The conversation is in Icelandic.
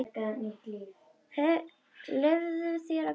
Leyfðu þér að gráta.